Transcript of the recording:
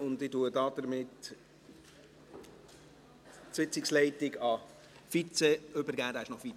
Damit übergebe ich die Sitzungsleitung an den Vize, der ist noch fit.